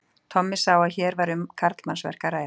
Tommi sá að hér var um karlmannsverk að ræða.